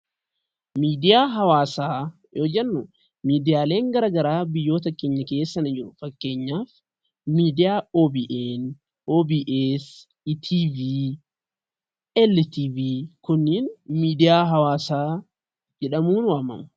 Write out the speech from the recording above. Miidiyaa hawaasaa yoo jennu miidiyaaleen gara garaa biyyoota keenya keessa ni jiru. Fakkeenyaaf miidiyaa OBN , OBS ,ETV, LTV kunniin miidiyaa hawaasaa jedhamuun waammamu.